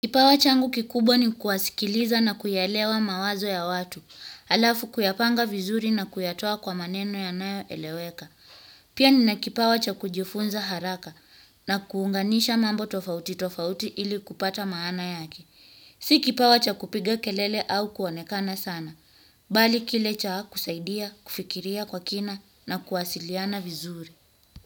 Kipawa changu kikubwa ni kusikiliza na kuyaelewa mawazo ya watu, halafu kuyapanga vizuri na kuyatoa kwa maneno yanayoeleweka. Pia nina kipawa cha kujifunza haraka na kuunganisha mambo tofauti tofauti ili kupata maana yake. Si kipawa cha kupiga kelele au kuonekana sana, bali kile cha kusaidia, kufikiria kwa kina na kuwasiliana vizuri.